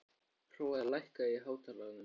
Hrói, lækkaðu í hátalaranum.